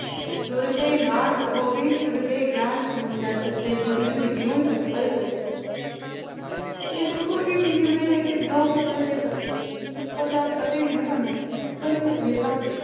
ਤੁਰ ਪਏ ਨਾਲ ਓਹ ਵੀ, ਤਰ ਗਏ ਗਿਆਨ ਸਮੁੰਦਰ ਸੱਤੇ, ਜੁੱਗ ਜੁੱਗ ਜੀਉਣ ਪਿੱਪਲ ਦੇ ਪੱਤੇ ਇਹ ਦੇਖੋ ਹੁਣ ਇਹ ਕਿੰਨੀ ਵਧੀਆ ਹੈ ਕਿ ਦੋ ਪਿੱਪਲ ਦੇ ਪੱਤੇ, ਪਿੱਪਲ ਦਾ ਪਤਾ ਹੀ ਹੈ ਨਾ ਤੁਹਾਨੂੰ ਪਿੱਪਲ ਇੱਕ ਅਜਿਹਾ